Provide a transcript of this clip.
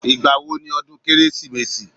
Ìgbà wo ni odún kérésìmesì?